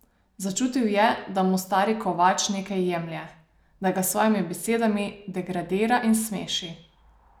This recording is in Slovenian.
Začutil je, da mu stari kovač nekaj jemlje, da ga s svojimi besedami degradira in smeši!